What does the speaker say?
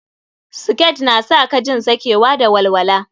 Siket na sa ka jin sakewa da walwala.